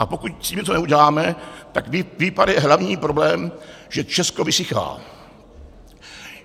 A pokud s tím něco neuděláme, tak výpar je hlavní problém, že Česko vysychá.